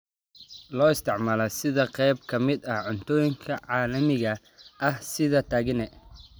Loo isticmaalo sida qayb ka mid ah cuntooyinka caalamiga ah sida tagine.